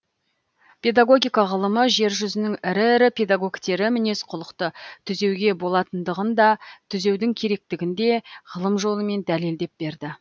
педагогика ғылымы жер жүзінің ірі ірі педагогтері мінез құлықты түзеуге болатындығын да түзеудің керектігін де ғылым жолымен дәлелдеп берді